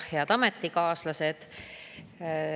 Head ametikaaslased!